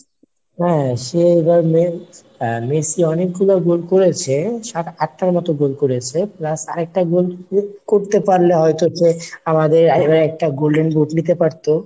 হ্যাঁ সে এবার মে~ মেসি অনেকগুলো গোল করেছে সাত আটটার মতো গোল করেছে plus আরেকটা গোল করতে পারলে হয়তো যে আমাদের IMA একটা golden boot নিতে পারতো।